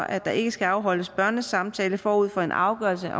at der ikke skal afholdes børnesamtaler forud for en afgørelse